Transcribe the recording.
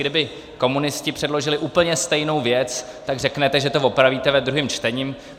Kdyby komunisti předložili úplně stejnou věc, tak řeknete, že to opravíte ve druhém čtení.